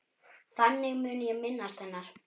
Þannig mun ég minnast hennar.